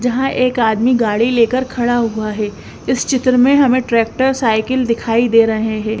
जहां एक आदमी गाड़ी लेकर खड़ा हुआ है इस चित्र में हमें ट्रैक्टर साईकिल दिखाई दे रहे है।